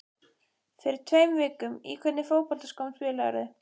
Fyrir tveim vikum Í hvernig fótboltaskóm spilarðu?